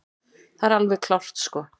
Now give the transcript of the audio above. Það er alveg klárt sko.